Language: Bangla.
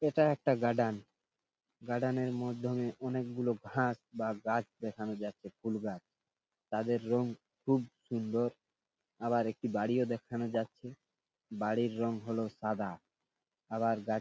এইটা একটা গার্ডেন । গার্ডেন -এর মধ্যমে অনেক গুলো ঘাস বা গাছ দেখানো যাচ্ছে ফুল গাছ তাদের রং খুব সুন্দর আবার একটি বাড়িও দেখানো যাচ্ছে বাড়ির রং হলো সাদা আবার গাছ --